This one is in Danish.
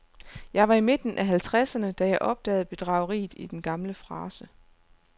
Jeg var i midten af halvtredserne, da jeg opdagede bedrageriet i den gamle frase.